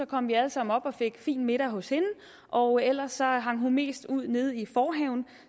kom vi alle sammen op og fik fin middag hos hende og ellers hang hun mest ud nede i forhaven